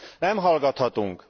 Nem hallgathatunk!